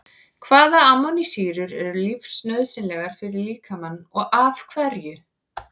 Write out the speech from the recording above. Hvaða amínósýrur eru lífsnauðsynlegar fyrir líkamann og af hverju?